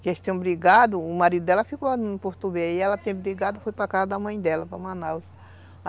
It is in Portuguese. que eles tinham brigado, o marido dela ficou no Porto e ela tinha brigado e foi para casa da mãe dela, para Manaus.